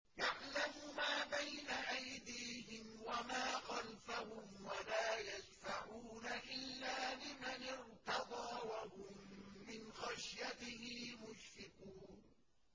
يَعْلَمُ مَا بَيْنَ أَيْدِيهِمْ وَمَا خَلْفَهُمْ وَلَا يَشْفَعُونَ إِلَّا لِمَنِ ارْتَضَىٰ وَهُم مِّنْ خَشْيَتِهِ مُشْفِقُونَ